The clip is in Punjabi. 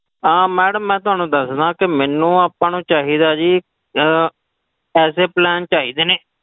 ਅਹ madam ਮੈਂ ਤੁਹਾਨੂੰ ਦੱਸਦਾਂ ਕਿ ਮੈਨੂੰ ਆਪਾਂ ਨੂੰ ਚਾਹੀਦਾ ਜੀ ਅਹ ਐਸੇ plan ਚਾਹੀਦੇ ਨੇ,